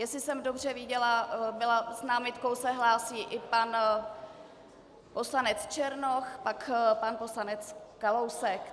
Jestli jsem dobře viděla, s námitkou se hlásí i pan poslanec Černoch, pak pan poslanec Kalousek.